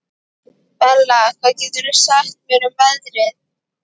Bella, hvað geturðu sagt mér um veðrið?